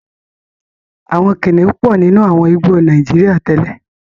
Àwọn kìnnìún pọ̀ nínú àwọn igbó Nàíjíríà tẹ́lẹ̀.